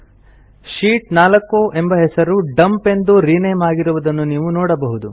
sheet 4 ಎಂಬ ಹೆಸರು dump ಎಂದು ರಿನೇಮ್ ಆಗಿರುವುದನ್ನು ನೀವು ನೋಡಬಹುದು